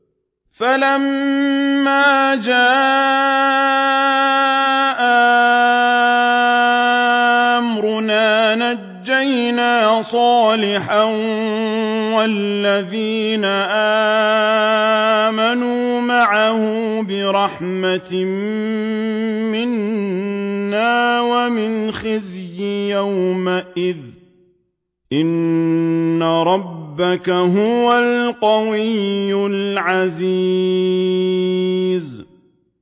فَلَمَّا جَاءَ أَمْرُنَا نَجَّيْنَا صَالِحًا وَالَّذِينَ آمَنُوا مَعَهُ بِرَحْمَةٍ مِّنَّا وَمِنْ خِزْيِ يَوْمِئِذٍ ۗ إِنَّ رَبَّكَ هُوَ الْقَوِيُّ الْعَزِيزُ